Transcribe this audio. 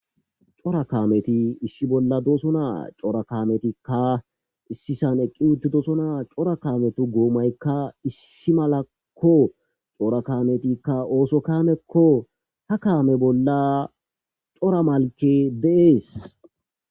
Cora kaameti issi bolla doosonaa cora kaametikka issisan eqqi uttid doosonaa cora kaametu goomaykka issi malakko cora kametikka ooso kamekko ha kaame bolla cora malke deees.